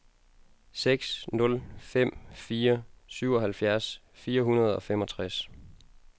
seks nul fem fire syvoghalvfjerds fire hundrede og femogtres